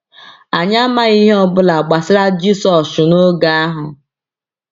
Anyị amaghi ihe ọ bụla gbasara Jisọshụ n’oge ahụ.